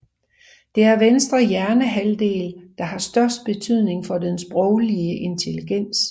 Det er venstre hjernehalvdel der har størst betydning for den sproglige intelligens